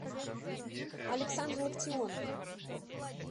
александр лактионов